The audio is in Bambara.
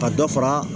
Ka dɔ fara